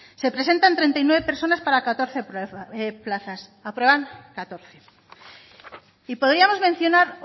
se presentan treinta y nueve personas para catorce plazas aprueban catorce y podríamos mencionar